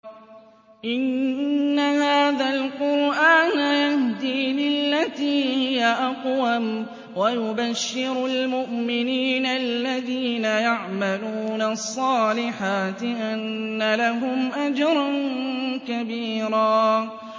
إِنَّ هَٰذَا الْقُرْآنَ يَهْدِي لِلَّتِي هِيَ أَقْوَمُ وَيُبَشِّرُ الْمُؤْمِنِينَ الَّذِينَ يَعْمَلُونَ الصَّالِحَاتِ أَنَّ لَهُمْ أَجْرًا كَبِيرًا